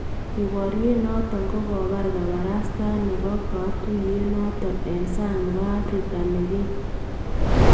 Keboryen noton kokabaar kabarastaet nebo katuyet noton en saang nebo Afrika nekeen.